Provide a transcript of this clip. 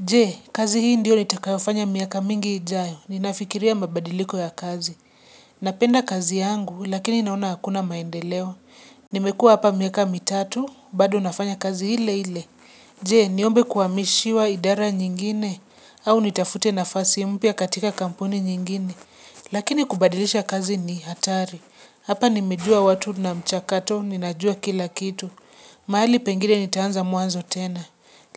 Je, kazi hii ndio nitakayofanya miaka mingi ijayo, ninafikiria mabadiliko ya kazi. Napenda kazi yangu, lakini naona hakuna maendeleo. Nimekua hapa miaka mitatu, bado nafanya kazi ile ile. Je, niombe kuhamishiwa idara nyingine, au nitafute nafasi mpya katika kampuni nyingine. Lakini kubadilisha kazi ni hatari. Hapa nimejua watu na mchakato, ninajua kila kitu. Mahali pengine nitaanza mwanzo tena.